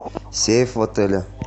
сейф в отеле